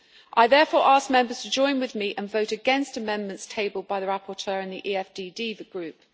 I therefore ask Members to join with me and vote against amendments tabled by the rapporteur and the EFDD Group.